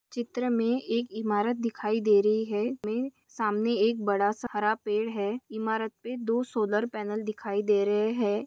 चित्र में एक इमारत दिखाई दे रही है मे सामने एक बडासा हरा पेड़ है इमारत पे दो सोलार पैनल दिखाई दे रहे है।